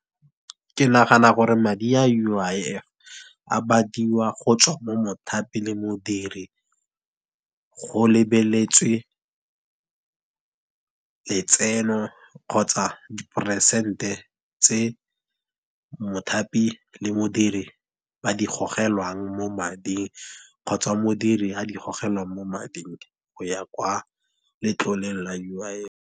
Ke nagana gore madi a U_I_F a badiwa go tswa mo mothapi le modiri, go lebeletswe letseno, kgotsa diperesente tse mothapi le modiri ba di gogelwang mo mading. Kgotsa modiri a di gogelwa mo mading go ya kwa letloleng la U_I_F.